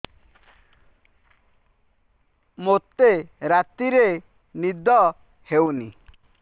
ମୋତେ ରାତିରେ ନିଦ ହେଉନି